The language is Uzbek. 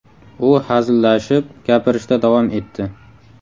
U hazillashib, gapirishda davom etdi.